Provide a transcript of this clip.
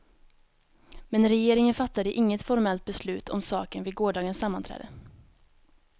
Men regeringen fattade inget formellt beslut om saken vid gårdagens sammanträde.